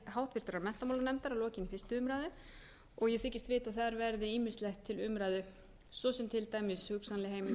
háttvirtrar menntamálanefndar að lokinni fyrstu umræðu og ég þykist vita að þar verði ýmislegt til umræðu svo sem til dæmis hugsanleg heimildarákvæði eða annað slíkt sem